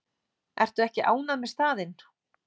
Ertu ekki ánægð með staðinn?